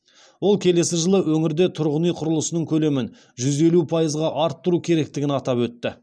ол келесі жылы өңірде тұрғын үй құрылысының көлемін жүз елу пайызға арттыру керектігін атап өтті